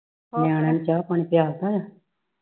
ਨਿਆਣਿਆਂ ਨੂੰ ਚਾਹ ਪਾਣੀ ਪਿਆ ਤਾਂ ਆ